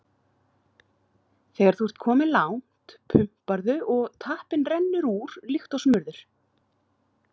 Þegar þú ert kominn langt, pumparðu og tappinn rennur úr líkt og smurður.